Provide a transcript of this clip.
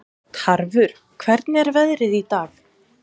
Tarfur, hvernig er veðrið í dag?